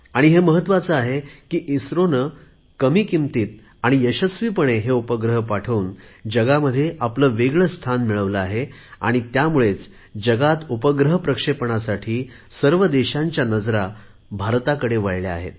आणि हे महत्त्वाचे आहे कि इस्रोने कमी किमतीत आणि यशस्वीपणे हे उपग्रह पाठवून जगात आपले वेगळे स्थान मिळवले आहे आणि त्यामुळेच जगात उपग्रह प्रक्षेपणासाठी सर्व देशांच्या नजरा भारताकडे वळल्या आहेत